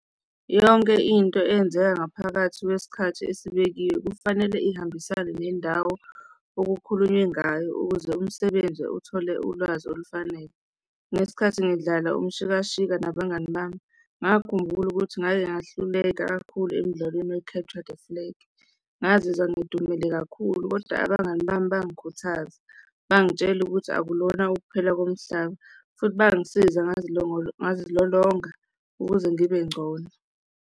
Yonke into eyenzeka ngaphakathi kwesikhathi esibekiwe kufanele ihambisane nendawo okukhulunywe ngayo ukuze umsebenzi uthole ulwazi olufanele. Ngesikhathi ngidlala umshikashika nabangani bami, ngakhumbula ukuthi ngake ngahluleka kakhulu emdlalweni we-capture the flag. Ngazizwa ngidumele kakhulu, kodwa abangani bami bangikhuthaza, bangitshela ukuthi akulona ukuphela komhlaba futhi bangisiza ngazilolonga ukuze ngibe ngcono.